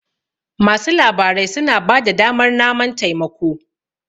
masu labarai suna ba da damar naman taimako